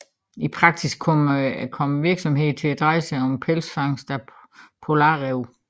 I praksis kom virksomheden til at dreje sig om pelsfangst af polarræve